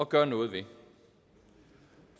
gøre noget ved